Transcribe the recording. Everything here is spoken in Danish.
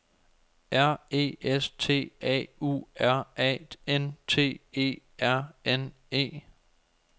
R E S T A U R A N T E R N E